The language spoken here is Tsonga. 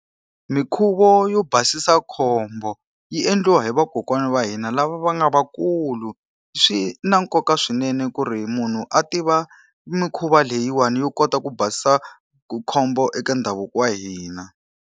Minkhuvo yo basisa khombo, yi endliwa hi vakokwana va hina lava va nga va kulu. Swi na nkoka swinene ku ri munhu a tiva mikhuva leyiwani yo kota ku basisa khombo eka ndhavuko wa hina.